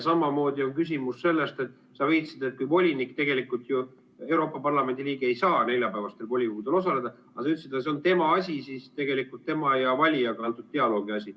Samamoodi on küsimus selles, et sa viitasid, et kui volinik, tegelikult ju Euroopa Parlamendi liige ei saa neljapäevastel volikogu istungitel osaleda, siis see on tema asi, tegelikult siis tema ja valija vahelise dialoogi asi.